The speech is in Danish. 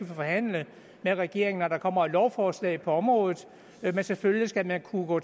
forhandle med regeringen om og der kommer et lovforslag på området men selvfølgelig skal man kunne gå